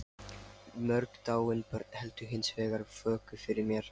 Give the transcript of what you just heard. Mörg dáin börn héldu hins vegar vöku fyrir mér.